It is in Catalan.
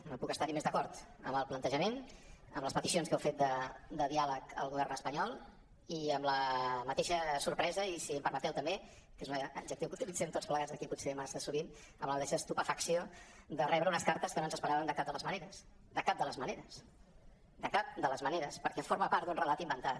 no puc estar·hi més d’acord amb el plantejament amb les peticions que heu fet de diàleg al govern espanyol i amb la mateixa sorpresa i si em permeteu tam·bé que és un adjectiu que utilitzem tots plegats aquí potser massa sovint amb la mateixa estupefacció de rebre unes cartes que no ens esperàvem de cap de les maneres de cap de les maneres perquè forma part d’un relat inventat